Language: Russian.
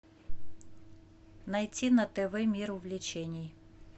найти на тв мир увлечений